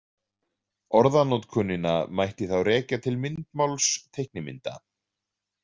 Orðanotkunina mætti þá rekja til myndmáls teiknimynda.